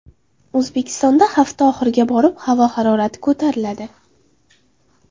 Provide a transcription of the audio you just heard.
O‘zbekistonda hafta oxiriga borib havo harorati ko‘tariladi.